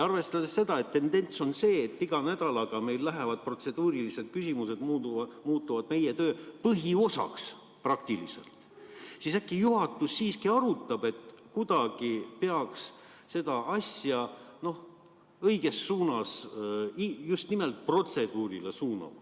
Arvestades seda, et tendents on selline, et igal nädalal protseduurilised küsimused muutuvad praktiliselt meie töö põhiosaks, äkki juhatus arutab, et kuidagi peaks seda asja õiges suunas just nimelt protseduuri osas suunama.